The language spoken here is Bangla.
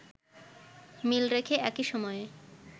মিল রেখে একই সময়ে